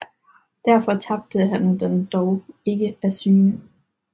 Derfor tabte han den dog ikke af syne